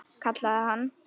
Kallaði hann.